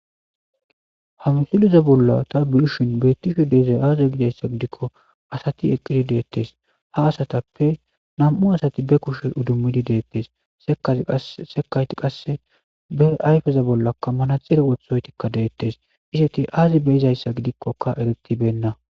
ha misleza bolla ta biyushin beettisho deezay aaza gidayssa gidikko asati eqqidi deettes ha asatappe nam7u asati be kushe udummidi deettes sekayti qasse be ayfeza bollakka manaxire wothoytikka deettes iseti aazi beyizayssa gidikkoka eritibenna